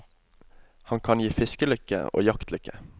Han kan gi fiskelykke og jaktlykke.